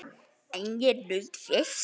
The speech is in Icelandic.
En ég naut þess.